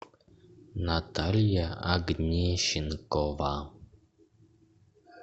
наталья огнищенкова